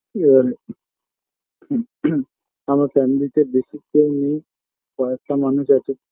আমার friend list -এ বেশি কেউ নেই কয়েকটা মানুষ আছে